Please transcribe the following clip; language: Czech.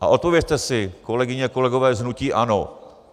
A odpovězte si, kolegové, kolegyně, z hnutí ANO.